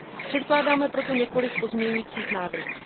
Předkládáme proto několik pozměňovacích návrhů.